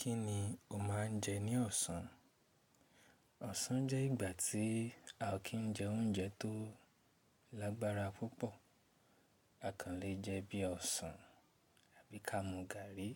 Kíni o máa ń jẹ ní ọ̀sán? Ọ̀sán jẹ́ ìgbà tí a o kì jẹ oúnjẹ tó lágbára púpọ̀. A kàn le jẹ bí ọ̀sán, àbí ká mú gààrí,